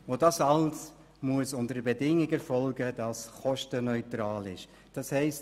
Und das alles muss unter der Bedingung erfolgen, dass es kostenneutral ist.